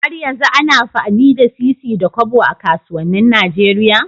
Har yanzu ana amfani da sisi da Kobo a kasuwanin Nigeria?